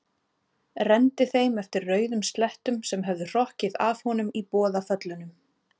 Renndi þeim eftir rauðum slettum sem höfðu hrokkið af honum í boðaföllunum.